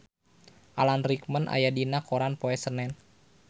Alan Rickman aya dina koran poe Senen